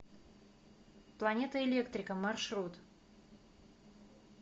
планета электрика маршрут